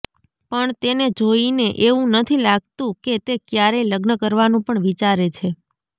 પણ તેને જોઇને એવું નથી લાગતું કે તે ક્યારેય લગ્ન કરવાનું પણ વિચારે છે